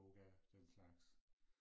Yoga den slags